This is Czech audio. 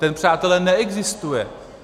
Ten, přátelé, neexistuje.